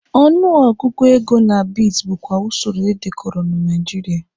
Ọnụ ọgụgụ ego na beads bụkwa usoro edekọrọ na Nigeria.